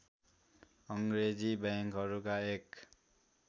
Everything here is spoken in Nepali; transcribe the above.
अङ्ग्रेजी बैंकहरूका एक